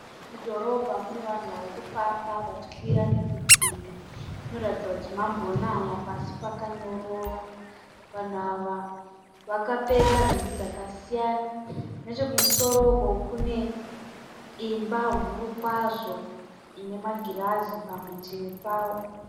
Mudhorobha mune vanhu varikufamba vachikwira nekudzika zvinoratidza kuti kwambonaya pasi akanyorwa vanhu awa wakapfeka nhumbi dzakasiyana nechekumusoro uko kune imba huru kwazvo inemagirazi parutivi payo